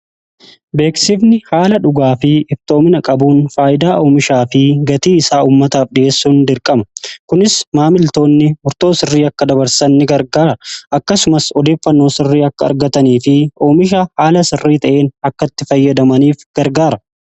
beeksifni haala dhugaa fi iftoomina qabuun faayidaa oomishaa fi gatii isaa ummataaf dhi'eessuun dirqama. kunis maamiltoonni murtoo sirrii akka dabarsanni gargaara akkasumas odeeffannoo sirrii akka argatanii fi oomisha haala sirrii ta'een akkatti fayyadamaniif gargaara.